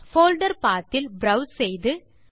folder path இல் browse செய்து